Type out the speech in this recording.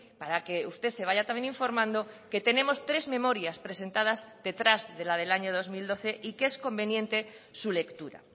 para que usted se vaya también informando que tenemos tres memorias presentadas detrás de la del año dos mil doce y que es conveniente su lectura